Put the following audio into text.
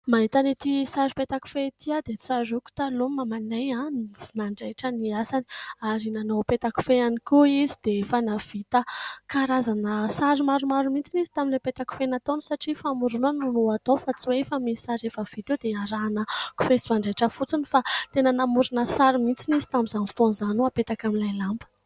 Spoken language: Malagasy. Mahita an'ity sary petakofehy ity aho dia tsaroako taloha mamanay, nanjaitra ny asany ary nanao petakofehy ihany koa izy dia efa nahavita karazana sary maromaro mihitsy izy tamin'ilay petakofehy nataony satria famoronana no atao fa tsy hoe efa misy sary efa vita eo dia arahana kofehy sy fanjaitra fotsiny fa tena namorona sary mihitsy izy tamin'izany fotoan'izany ho hapetaka amin'ilay lamba